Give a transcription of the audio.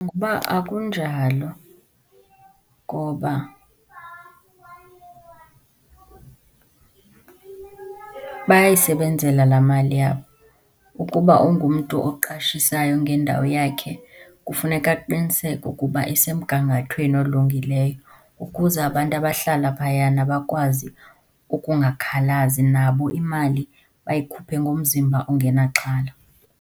Akunjalo ngoba bayayisebenzela laa mali yabo. Ukuba ungumntu oqashisayo ngendawo yakhe kufuneka aqiniseke ukuba isemgangathweni olungileyo ukuze abantu abahlala phayana bakwazi ukungakhalazi, nabo imali bayikhuphe ngomzimba ongenaxhala.